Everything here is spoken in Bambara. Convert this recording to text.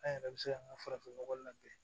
An yɛrɛ bɛ se k'an ka farafinnɔgɔ labɛn